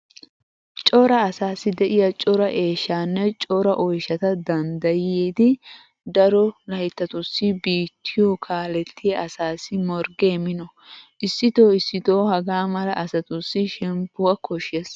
Cora asaassi de'iya cora eeshshaanne cora oyshata danddayidi daro layttatussi biittiyo kaalettiya asassi morggee mino! Issitoo issitoo hagaa mala asatussi shemppuwa koshshees.